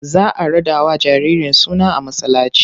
Za a raɗawa jaririn suna a masallaci.